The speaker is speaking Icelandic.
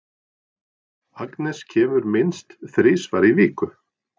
Agnes kemur minnst þrisvar í viku.